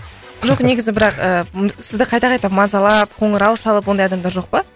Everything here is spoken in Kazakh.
жоқ негізі бірақ ііі сізді қайта қайта мазалап қоңырау шалып ондай адамдар жоқ па